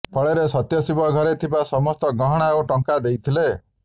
ଫଳରେ ସତ୍ୟଶିବ ଘରେ ଥିବା ସମସ୍ତ ଗହଣା ଓ ଟଙ୍କା ଦେଇଥିଲେ